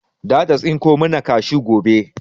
Zata tsinko mana kashu gobe.